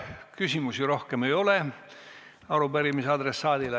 Küsimusi rohkem arupärimise adressaadile ei ole.